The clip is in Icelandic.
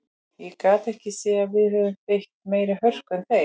Ég gat ekki séð að við höfum beitt meiri hörku en þeir.